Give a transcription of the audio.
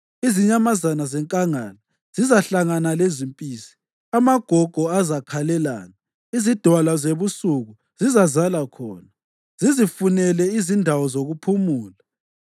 Izinyamazana zenkangala zizahlangana lezimpisi, amagogo azakhalelana; izidalwa zebusuku zizalala khona zizifunele izindawo zokuphumula.